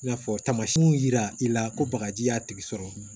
I n'a fɔ tamasiɛnw yira i la ko bagaji y'a tigi sɔrɔ